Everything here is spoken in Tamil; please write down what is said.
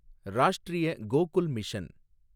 ராஷ்டிரிய கோகுல் மிஷன்